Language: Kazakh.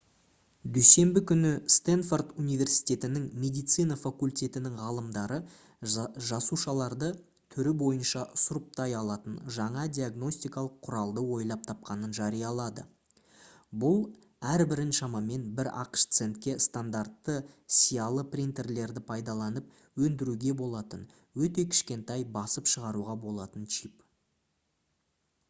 дүйсенбі күні стэнфорд университетінің медицина факультетінің ғалымдары жасушаларды түрі бойынша сұрыптай алатын жаңа диагностикалық құралды ойлап тапқанын жариялады бұл әрбірін шамамен бір ақш центке стандартты сиялы принтерлерді пайдаланып өндіруге болатын өте кішкентай басып шығаруға болатын чип